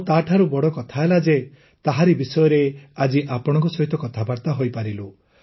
ଆଉ ତାଠୁ ବଡ଼ କଥା ହେଲା ଯେ ତାହାରି ବିଷୟରେ ଆଜି ଆପଣଙ୍କ ସହିତ କଥାବାର୍ତା ହୋଇପାରିଲୁ